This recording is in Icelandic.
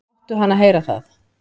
"""Láttu hana heyra það,"""